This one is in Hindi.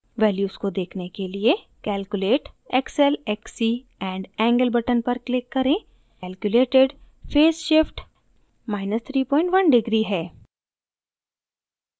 values को देखने के लिए calculate xl xc and angle button पर click करें calculated phase shift31 deg minus 31 degree है